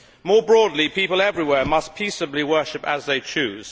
More broadly, people everywhere must peaceably worship as they choose.